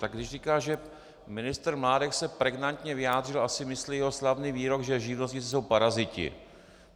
Tak když říká, že ministr Mládek se pregnantně vyjádřil, asi myslí jeho slavný výrok, že živnostníci jsou paraziti.